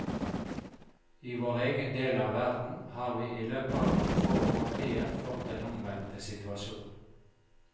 I vår egen del av verden har vi i løpet av noen få årtier fått den omvendte situasjon.